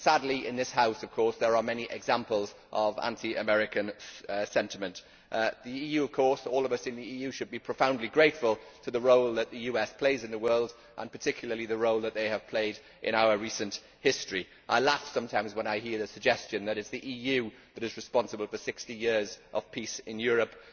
Sadly, in this House there are many examples of anti American sentiment. All of us in the EU should be profoundly grateful for the role that the US plays in the world and particularly the role that it has played in our recent history. I laugh sometimes when I hear the suggestion that it is the EU that is responsible for 60 years of peace in Europe.